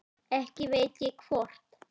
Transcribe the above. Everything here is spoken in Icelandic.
Ekki veit ég hvort